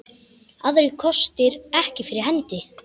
Aðrir kostir ekki fyrir hendi.